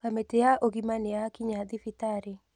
Kamĩtĩya ũgima nĩyakinya thibitarĩ.